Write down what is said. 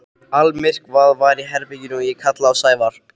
Almyrkvað var í herberginu og ég kallaði á Sævar.